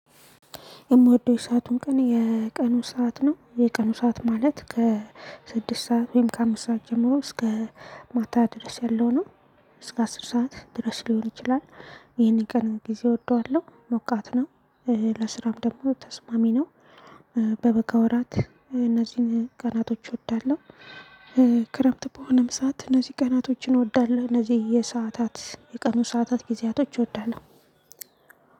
የምወደው ሰአቱን ቀን የቀኑ ሰዓት ነው የቀኑ ሰዓት ማለት ከስድስት ሰዓት ወይም ከአምስት ሰዓት ጀምሮ እስከ ማታ ድረስ ያለው ነው እስከ አስር ሰዓት ድረስ ሊሆን ይችላል። ይሄን ቀን ጊዜ እወደዋለሁ ሞቃት ነው። ለስራም ደግሞ ተስማሚ ነው። በበጋ ወራት እነዚህን ቀናቶች እወዳለሁ። ክረምት በሆነም ሰዓት እነዚህ ቀናቶችን እወዳለሁ እነዚህ የሰዓታት የቀኑ ሰዓታት ጊዜያቶች እወዳሎህ።